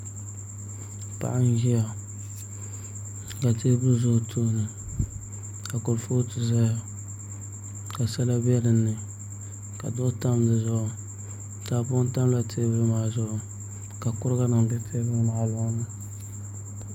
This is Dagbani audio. Paɣa n ʒiya ka teebuli ʒɛ o tooni ka kurifooti ʒɛya ka sala bɛ dinni ka duɣu tam dizuɣu kapu tamla teebuli maa zuɣu ka kuriga nim bɛ teebuli maa loŋni